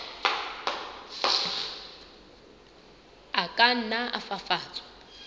a ka nna a fafatswa